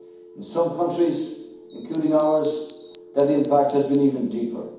on our people. In some countries, including ours, that impact has